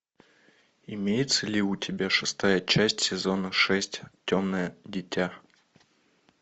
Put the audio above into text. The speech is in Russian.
имеется ли у тебя шестая часть сезона шесть темное дитя